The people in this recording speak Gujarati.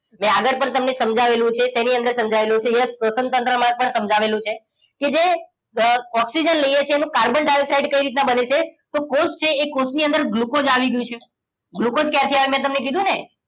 એટલે આગળ પણ તમને સમજાવેલું છે એની અંદર સમજાવેલું છે yes સ્વસનતંત્રમાં પણ સમજાવેલું છે કે જે ઓક્સિજન લઈએ છીએ એનું કાર્બન ડાયોક્સાઇડ કઈ રીતે બને છે તો કોષ છે એ કોષની અંદર ગ્લુકોઝ આવી ગયું છે ગ્લુકોઝ ક્યાંથી આવ્યું મેં તમને કીધું ને